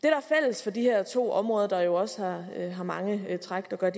er fælles for de her to områder der jo også har mange træk der gør